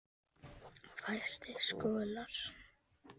Fæstir skollar